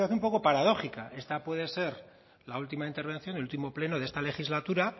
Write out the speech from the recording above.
situación un poco paradójica esta puede ser la última intervención del último pleno de esta legislatura